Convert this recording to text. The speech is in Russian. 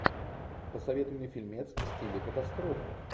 посоветуй мне фильмец в стиле катастрофы